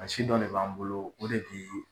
A si dɔ de b'an bolo o de tɛ